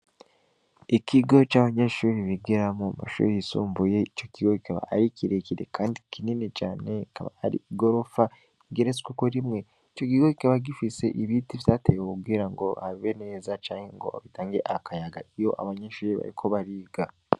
Ikigo c'abanyeshuri bigiramwo, amashuri yisumbuye, ico kigo kikaba ari kirekire kandi kinini cane, ikaba ari igorofa igeretsweko rimwe. Ico kigo kikaba gifise ibiti vyatewe kugirango habe neza canke ngo bitange akayaga iyo abanyeshure bariko bariga.